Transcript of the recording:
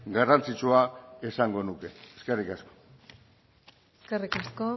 garrantzitsua esango nuke eskerrik asko eskerrik asko